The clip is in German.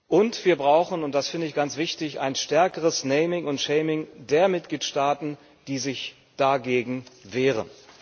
Und wir brauchen und das finde ich ganz wichtig ein stärkeres naming und shaming der Mitgliedstaaten, die sich dagegen wehren.